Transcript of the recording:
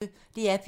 DR P1